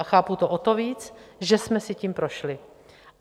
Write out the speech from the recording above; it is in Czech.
A chápu to o to víc, že jsme si tím prošli.